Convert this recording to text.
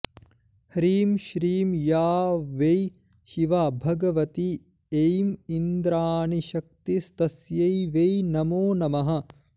ह्रीं श्रीं या वै शिवा भगवती ऐं इन्द्राणीशक्तिस्तस्यै वै नमो नमः